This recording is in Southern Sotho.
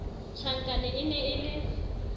tjhankane e ne e le